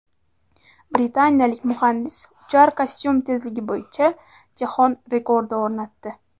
Britaniyalik muhandis uchar kostyum tezligi bo‘yicha jahon rekordi o‘rnatdi .